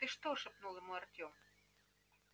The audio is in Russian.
ты что шепнул ему артём